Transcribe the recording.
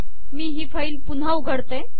मी ही फाईल पुन्हा उघडते